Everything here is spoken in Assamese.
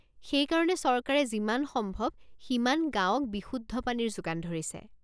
সেইকাৰণে চৰকাৰে যিমান সম্ভৱ সিমান গাওঁক বিশুদ্ধ পানীৰ যোগান ধৰিছে।